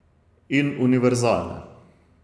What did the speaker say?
In univerzalne.